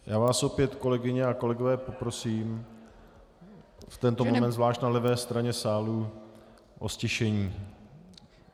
Já vás opět, kolegyně a kolegové, poprosím, v tento moment zvlášť na levé straně sálu, o ztišení.